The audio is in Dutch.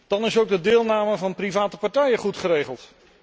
Dan is ook de deelname van private partijen goed geregeld.